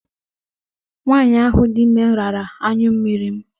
Nwaanyị ahụ dị ime rara anyụmmiri m.